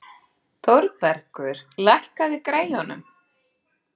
Þórbergur, lækkaðu í græjunum.